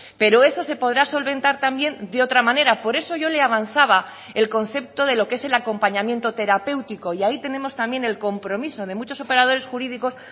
pero eso se podrá solventar también de otra manera por eso yo le avanzaba el concepto de lo qué es el acompañamiento terapéutico y ahí tenemos también el compromiso de muchos operadores jurídicos